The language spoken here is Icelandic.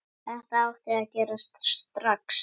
Þetta á að gerast strax.